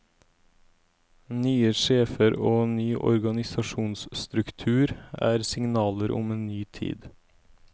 Nye sjefer og ny organisasjonsstruktur er signaler om en ny tid.